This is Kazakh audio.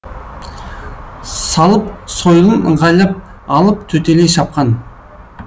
салып сойылын ыңғайлап алып төтелей шапқан